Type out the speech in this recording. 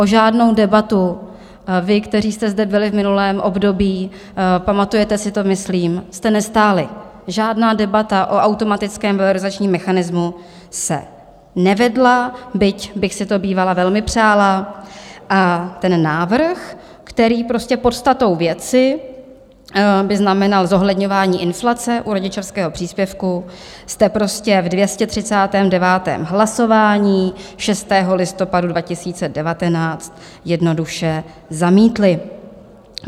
O žádnou debatu vy, kteří jste zde byli v minulém období, pamatujete si to myslím, jste nestáli, žádná debata o automatickém valorizačním mechanismu se nevedla, byť bych si to bývala velmi přála, a ten návrh, který prostě podstatou věci by znamenal zohledňování inflace u rodičovského příspěvku, jste prostě v 239. hlasování 6. listopadu 2019 jednoduše zamítli.